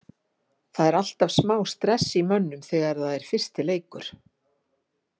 Það er alltaf smá stress í mönnum þegar það er fyrsti leikur.